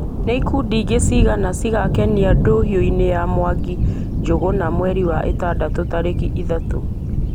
nĩ ikundi ingĩ cigana cigakenia ndũhio-inĩ ya mwangi njũgũna mwerĩ wa ĩtandatũ tarĩki ithatũ